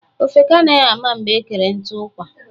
Ofeke anaghị ama mgbe ekere nkụ ụkwa.